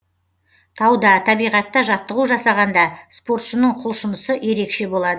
тауда табиғатта жаттығу жасағанда спортшының құлшынысы ерекше болады